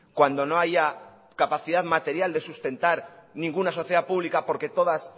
cuando no haya capacidad material de sustentar ninguna sociedad pública porque todas